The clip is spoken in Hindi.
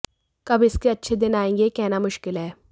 कब इसके अच्छे दिन आएंगे यह कहना मुश्किल है